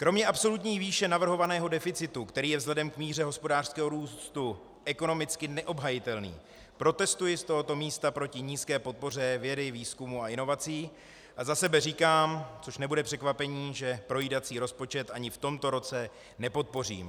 Kromě absolutní výše navrhovaného deficitu, který je vzhledem k míře hospodářského růstu ekonomicky neobhajitelný, protestuji z tohoto místa proti nízké podpoře vědy, výzkumu a inovací a za sebe říkám, což nebude překvapení, že projídací rozpočet ani v tomto roce nepodpořím.